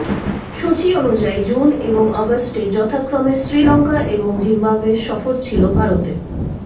সূচি অনুযায়ী জুন এবং আগস্টে যথাক্রমে শ্রীলঙ্কা এবং জিম্বাবোয়ে সফর ছিল ভারতের